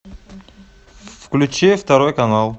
включи второй канал